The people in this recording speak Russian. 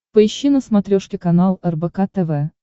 поищи на смотрешке канал рбк тв